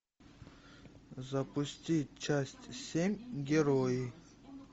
запусти часть семь герои